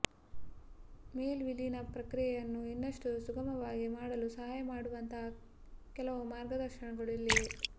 ಮೇಲ್ ವಿಲೀನ ಪ್ರಕ್ರಿಯೆಯನ್ನು ಇನ್ನಷ್ಟು ಸುಗಮವಾಗಿ ಮಾಡಲು ಸಹಾಯ ಮಾಡುವಂತಹ ಕೆಲವು ಮಾರ್ಗದರ್ಶನಗಳು ಇಲ್ಲಿವೆ